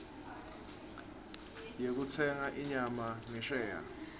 yekutsenga inyama ngesheya